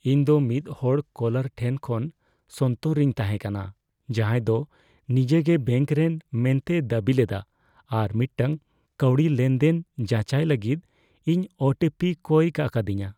ᱤᱧ ᱫᱚ ᱢᱤᱫ ᱦᱚᱲ ᱠᱚᱞᱟᱨ ᱴᱷᱮᱱ ᱠᱷᱚᱱ ᱥᱚᱱᱛᱚᱨ ᱨᱤᱧ ᱛᱟᱦᱮᱸ ᱠᱟᱱᱟ ᱡᱟᱦᱟᱸᱭ ᱫᱚ ᱱᱤᱡᱮᱜᱮ ᱵᱮᱹᱝᱠ ᱨᱮᱱ ᱢᱮᱱᱛᱮᱭ ᱫᱟᱹᱵᱤ ᱞᱮᱫᱟ ᱟᱨ ᱢᱤᱫᱴᱟᱝ ᱠᱟᱹᱣᱰᱤ ᱞᱮᱱᱫᱮᱱ ᱡᱟᱪᱟᱭ ᱞᱟᱹᱜᱤᱫ ᱤᱧ ᱳ ᱴᱤ ᱯᱤᱭ ᱠᱚᱭ ᱠᱟ ᱟᱠᱟᱫᱤᱧᱟᱹ ᱾